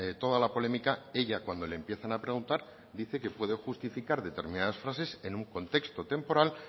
toda la polémica ella cuando le empiezan a preguntar dice que puede justificar determinadas frases en un contexto temporal